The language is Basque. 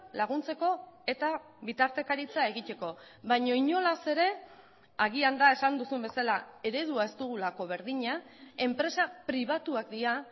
laguntzeko eta bitartekaritza egiteko baina inolaz ere agian da esan duzun bezala eredua ez dugulako berdina enpresa pribatuak dira